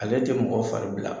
Ale tɛ mɔgɔ fari bila.